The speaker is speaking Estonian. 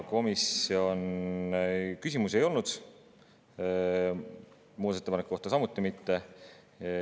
Komisjonis küsimusi ei olnud, muudatusettepaneku kohta samuti mitte.